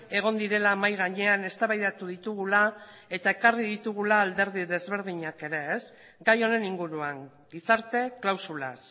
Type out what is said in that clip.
egon direla mahai gainean eztabaidatu ditugula eta ekarri ditugula alderdi ezberdinak ere gai honen inguruan gizarte klausulaz